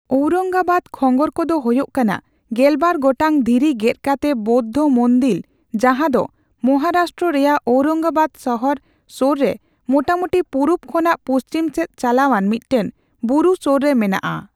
ᱳᱣᱨᱚᱝᱜᱟᱵᱟᱫᱽ ᱠᱷᱚᱸᱜᱚᱨ ᱠᱚᱫᱚ ᱦᱳᱭᱳᱭ ᱠᱟᱱᱟ ᱜᱮᱞᱵᱟᱨ ᱜᱚᱴᱟᱝ ᱫᱷᱤᱨᱤ ᱜᱮᱫ ᱠᱟᱛᱮ ᱵᱳᱫᱽᱫᱷᱚ ᱢᱚᱱᱫᱤᱞ ᱡᱟᱦᱟᱸ ᱫᱚ ᱢᱚᱦᱟ ᱨᱟᱥᱴᱨᱚ ᱨᱮᱭᱟᱜ ᱳᱣᱨᱚᱝᱜᱟᱵᱟᱫᱽ ᱥᱟᱦᱟᱨ ᱥᱳᱨ ᱨᱮ ᱢᱚᱴᱟᱢᱩᱴᱤ ᱯᱩᱨᱩᱵ ᱠᱷᱚᱱᱟᱜ ᱯᱩᱪᱷᱤᱢ ᱥᱮᱫ ᱪᱟᱞᱟᱣᱟᱱ ᱢᱤᱫᱴᱟᱝ ᱵᱩᱨᱩ ᱥᱳᱨ ᱨᱮ ᱢᱮᱱᱟᱜᱼᱟ ᱾